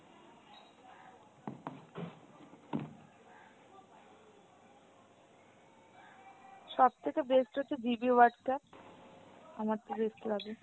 সব থেকে best হচ্ছে GB Whatsapp, আমারতো best লাগে।